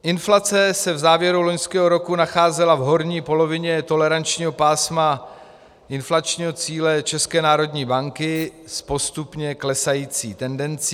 Inflace se v závěru loňského roku nacházela v horní polovině tolerančního pásma inflačního cíle České národní banky s postupně klesající tendencí.